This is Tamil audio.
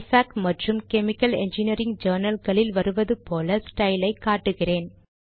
இஃபாக் மற்றும் கெமிக்கல் என்ஜினியரிங் ஜர்னல் களில் வருவது போல ஸ்டைலை காட்டுகிறேன்